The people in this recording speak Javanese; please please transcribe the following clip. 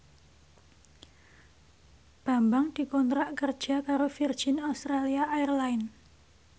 Bambang dikontrak kerja karo Virgin Australia Airlines